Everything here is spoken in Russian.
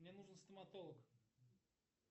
мне нужен стоматолог